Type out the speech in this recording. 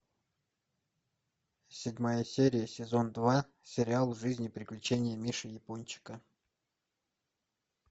седьмая серия сезон два сериал жизнь и приключения миши япончика